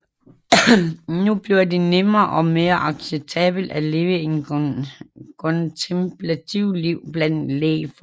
Nu blev det nemmere og mere acceptabelt at leve et kontemplativt liv blandt lægfolk